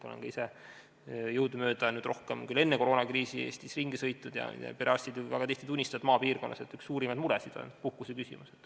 Olen ka ise jõudumööda – rohkem küll enne koroonakriisi – Eestis ringi sõitnud ja perearstid on väga tihti tunnistanud, eriti maapiirkonnas, et üks suurimaid muresid on puhkuse küsimus.